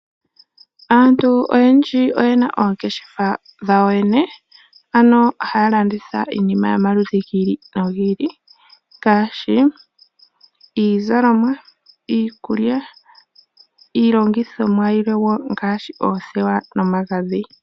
Aantu oyendji oyena oongeshefa dhawo yene, ano haya landitha iinima yomaludhi gi ili nogi ili, ngaashi iizalomwa, iikulya, iilongithomwa yimwe wo ngaashi oothewa nomagadhi.